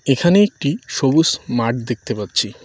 এখানে একটি সবুস মাঠ দেখতে পাচ্ছি।